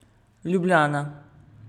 Ljubljana.